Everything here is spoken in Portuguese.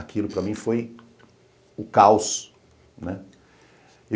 Aquilo para mim foi o caos, né?